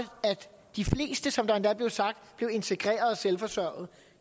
de fleste som der endda blev sagt bliver integreret og selvforsørgende